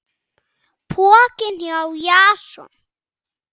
Pokinn hjá Jason